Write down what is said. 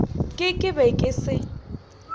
ke ke be ke se